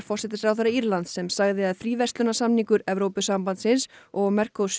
forsætisráðherra Írlands sem sagði að fríverslunarsamningur Evrópusambandsins og